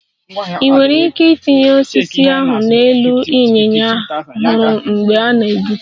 Ị nwere ike itinye osisi ahụ n'elu ịnyịnya a hụrụ mgbe ị na-egbutu